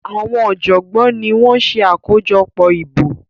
Àwọn ọjọgbọn ní wón ṣe akojọpọ ìbò